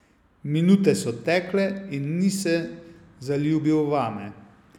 Minute so tekle in ni se zaljubil vame.